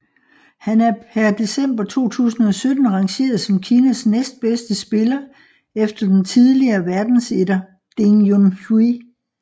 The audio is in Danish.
Han er per december 2017 rangeret som Kinas næstbedste spiller efter den tidligere verdensetter Ding Junhui